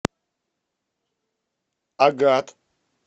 агат